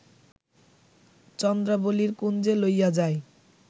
চন্দ্রাবলীর কুঞ্জে লইয়া যায়